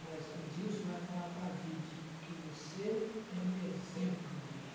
Mas Adilson vai falar para vinte que você é um exemplo de mulher.